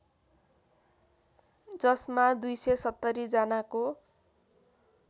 जसमा २७० जनाको